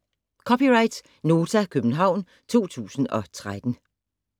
(c) Nota, København 2013